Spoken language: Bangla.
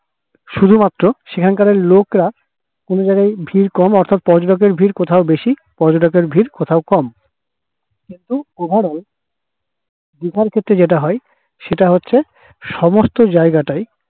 শুধুমাত্র সেখানকার ওই লোকরা কোথাও ভিড় কম অর্থাৎপর্যটকের ভিড় কোথাও বেশি পর্যটকের ভিড় কোথাও কম দিঘার ক্ষেত্রে যেটা হয় সেটা হচ্ছে সমস্ত জায়গা তাই